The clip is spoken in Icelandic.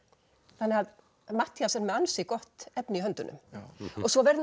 þannig að Matthías er með ansi gott efni í höndunum svo verður nú